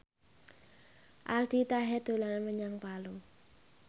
Aldi Taher dolan menyang Palu